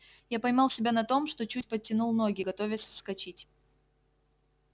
я поймал себя на том что чуть подтянул ноги готовясь вскочить